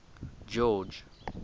george